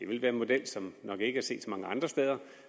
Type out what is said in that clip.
vil være en model som man nok ikke har set så mange andre steder og